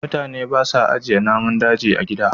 mutane ba sa ajiye namun daji a gida